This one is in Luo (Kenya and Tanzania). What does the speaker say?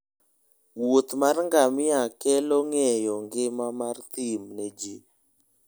Wuoth mar ngamia kero ngeyo ngima mar thin ne ji.